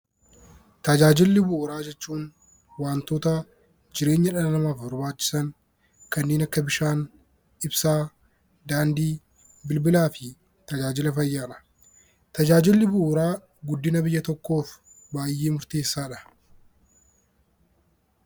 Tajaajila bu'uuraa jechuun wantoota jireenya dhala namaatiif barbaachisan kanneen akka bishaan, ibsaa, daandii, bilbilaa fi tajaajila fayyaadha. Tajaajilli bu'uuraa guddina biyya tokkoof baay'ee murteessaadha .